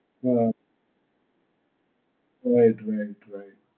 હાં. right right right.